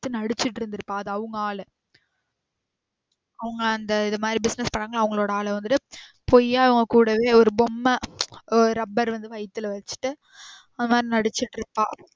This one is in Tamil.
நடிச்சிட்டு இருந்துருப்பா அது அவங்க ஆளு அவங்க அந்த இது மாறி business பண்ணாங்கள அவங்களோட ஆளு வந்துட்டு பொய்யா இவ கூடவே ஒரு பொம்ம ஒரு rubber வந்து வைத்துல வச்சிட்டு அந்த மாறி நடிச்சிட்டு இருப்பா.